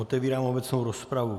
Otevírám obecnou rozpravu.